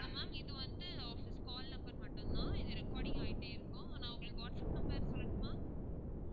hello ma'am இது வந்து office call number மட்டும் தான் இது recording ஆகிக்கிட்டே இருக்கும் நான் உங்களுக்கு வாட்ஸப் number சொல்லட்டுமா